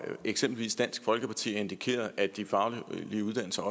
eksempelvis dansk folkeparti har indikeret at de faglige uddannelser